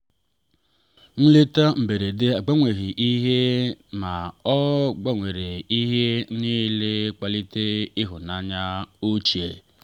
nleta mberede agbanweghị ihe ma ọ gbanwere ihe niile kpalite ịhụnanya ochie.